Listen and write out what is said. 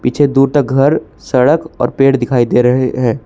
पीछे दूर तक घर सड़क और पेड़ दिखाई दे रहे हैं।